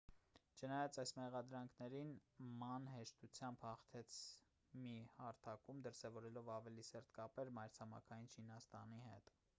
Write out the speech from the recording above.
չնայած այս մեղադրանքներին ման հեշտությամբ հաղթեց մի հարթակում դրսևորելով ավելի սերտ կապեր մայրցամաքային չինաստանի հետ